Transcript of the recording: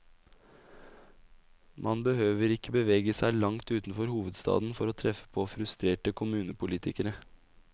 Man behøver ikke bevege seg langt utenfor hovedstaden for treffe på frustrerte kommunepolitikere.